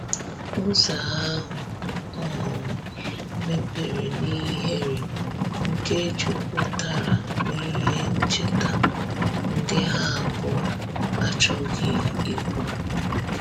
Ụzo ahu um mepere n'ihere nke juputara n'ihe ncheta ndi ha abuo achoghi ikwu